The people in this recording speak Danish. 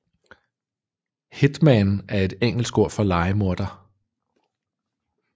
Hitman er et engelsk ord for lejemorder